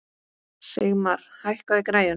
Sigmar, hækkaðu í græjunum.